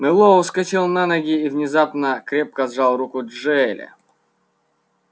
мэллоу вскочил на ноги и внезапно крепко сжал руку джаэля